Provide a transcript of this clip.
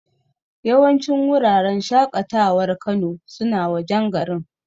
Yawancin wuraren shaƙatawar Kano suna wajen garin.